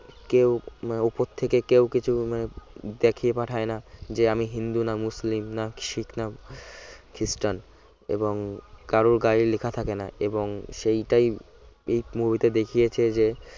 কেউ উপর থেকে কেউ কিছু দেখিয়ে পাঠায় না যে আমি হিন্দু না মুসলিম না শিখ না খ্রিস্টান এবং কারর গায়ে লেখা থাকে না এবং সেইটাই এই movie তে দেখিয়েছে যে